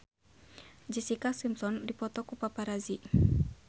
Jessica Simpson dipoto ku paparazi